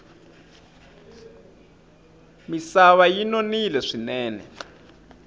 misava yi nonile swinene